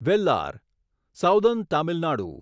Vellar southern Tamil Nadu